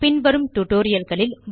பின்வரும் டியூட்டோரியல் களில்